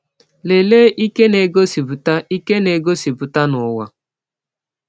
Lelee ike na-egosipụta ike na-egosipụta n’ụwa